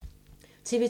TV 2